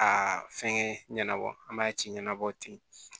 A fɛnkɛ ɲɛna ɲɛnabɔ an b'a ci ɲɛnabɔ ten